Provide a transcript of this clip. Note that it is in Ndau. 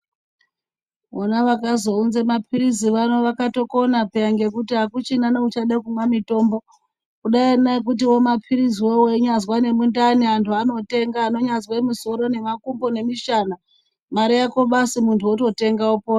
Vona vakazounza mapirizi vano vakatokona piyani nekuti akuchina neuchada kumwa mitombo kudai nekuti mapirizi awo weinyazwa mundani antu anotenga anganyazwa musoro nemakumbo nemishana Mare Yako basi muntu ototenga opona.